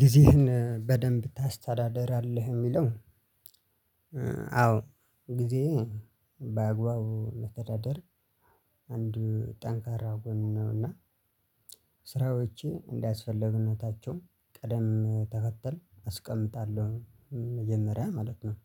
ጊዜህን በደንብ ታስተዳድራለህ የሚለው? እ አዎ ጊዜዬ በአግባቡ ማስተዳደር አንድ ጠንካራ ጎን ነው እና ስራዎችን እንዳስፈላጊነታቸው ቅደም ተከተል አስቀምጣለሁ እ መጀመሪያ ማለት ነው።